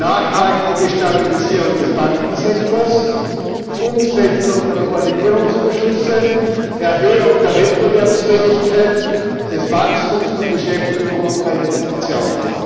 Nachhaltige Stabilisierung des Bankensektors, Umsetzung der Koordinierungsbeschlüsse, Erhöhung der Wettbewerbsfähigkeit, des Wachstums, der Beschäftigung und der Investitionen.